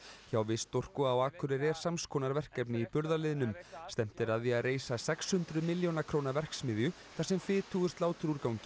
hjá Vistorku á Akureyri er sams konar verkefni í burðarliðnum stefnt er að því að reisa sex hundruð milljóna króna verksmiðju þar sem fitu úr sláturúrgangi